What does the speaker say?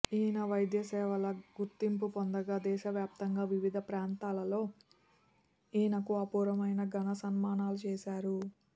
ఈయన వైద్య సేవలు గుర్తింపు పొందగా దేశవ్యాప్తంగా వివిధ ప్రాంతాలలో ఈయనకు అపూర్వమైన ఘన సన్మానాలు చేశారు